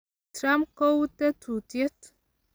Trump kou tetutiet.